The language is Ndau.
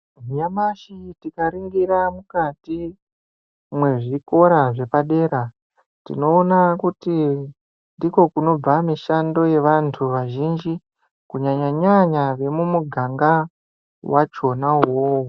Nyamashi tikaringira mukati mwezvikora zvepadera, tinoona kuti ndiko kunobva mishando yevantu vazhinji, kunyanya-nyanya vemumuganga wachona uwowo.